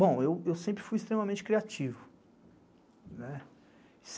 Bom, eu sempre fui extremamente criativo.